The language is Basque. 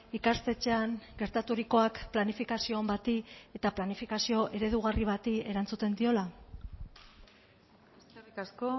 ikastetxean gertaturikoak planifikazio on bati eta planifikazio eredugarri bati erantzuten diola eskerrik asko